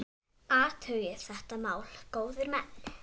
Athugið þetta mál, góðir menn!